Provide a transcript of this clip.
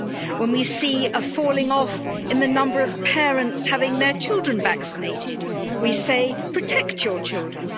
When we see a falling-off in the number of parents having their children vaccinated, we say protect your children